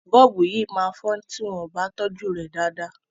Bọ́ọ̀bù yìí máa fọ tí wọ́n ò bá tọ́jú rẹ̀ dáadáa.